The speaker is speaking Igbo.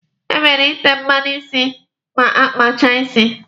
E kwesịrị ịte mmanụ isi ma a kpachaa isi.